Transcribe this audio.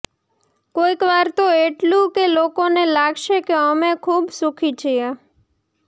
કોઈકવાર તો એટલું કે લોકોને લાગશે કે અમે ખૂબ સુખી છીએ